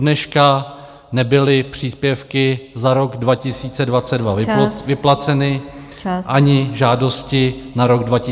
Dodneška nebyly příspěvky za rok 2022 vyplaceny , ani žádosti na rok 2023 přijaty.